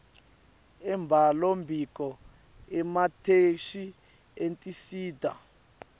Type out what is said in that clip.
embhalombiko emathektshi etinsita